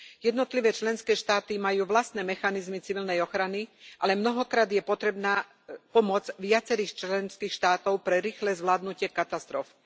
Jednotlivé členské štáty majú vlastné mechanizmy civilnej ochrany, ale mnohokrát je potrebná pomoc viacerých členských štátov pre rýchle zvládnutie katastrof.